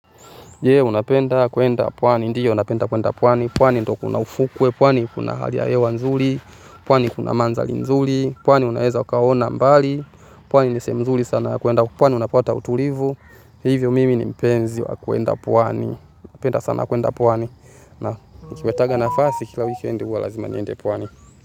Je, unapenda kwenda pwani. Ndiyo napenda kwenda pwani. Pwani ndiyo kuna ufukwe, pwani kuna hali ya hewa nzuli. Pwani kuna manzali nzuli, pwani unaeza ukaona mbali. Pwani ni sehemu mzuli sana kuenda, pwani unapota utulivu. Hivyo mimi ni mpenzi wa kwenda pwani. Napenda sana kuenda pwani na nikipataga nafasi kila wikendi huwa lazima niende pwani.